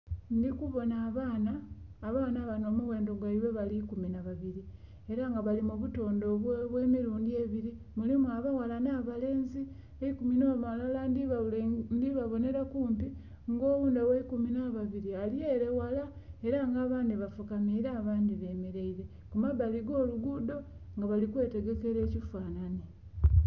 Ndhikubona abaana , abaana banho omughendho gwaibwe guli ikumi nha babiri era nga bali mu butondhe obwe milundhi ebiri mulimu abaghala nha balenzi. Eikumi nho mulala ndhi babonhera kumpi nga oghundhi ogheikumi nha babiri ali ere ghala era nga abandhi bafukamire abandhi bemereire kumbali kwo olugudho nga bali kwetegekera ekifanhani.